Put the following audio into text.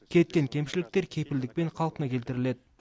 кеткен кемшіліктер кепілдікпен қалпына келтіріледі